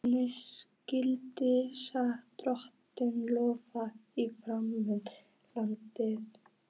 Hvernig syngja skal Drottni lof í framandi landi.